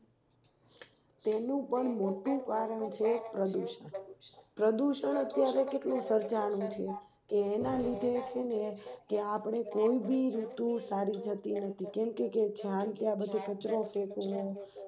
તેનું પણ મોટું કારણ છે પ્રદુષણપ્રદુષણ અત્યારે કેટલું સર્જાનું છે કે એના લીધે કેમ ભી ઋતુ સારી જતી નથી કેમકે જ્યાં ત્યાં કચરો ફેકવો